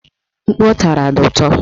Mkpu ọ tara dị ụtọ